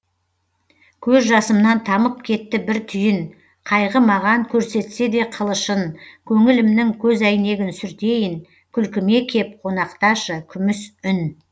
көз жасымнан тамып кетті бір түйін қайғы маған көрсетсе де қылышын көңілімнің көзәйнегін сүртейін күлкіме кеп қонақташы күміс үн